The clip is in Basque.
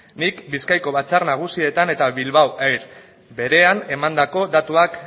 nik bizkaiko batzar nagusietan eta bilbao air berean emandako datuak